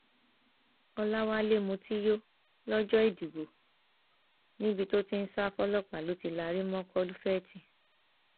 ọlọwálé mutí yó lọjọ ìdìbò níbi tó ti ń sá fọlọpàá ló ti lari mọ kọlufèétì